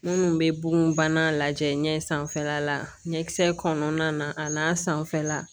Minnu bɛ bonbana lajɛ ɲɛ sanfɛla la ɲɛkisɛ kɔnɔna na a n'a sanfɛla